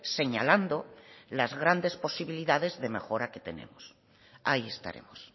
señalando las grandes posibilidades de mejora que tenemos ahí estaremos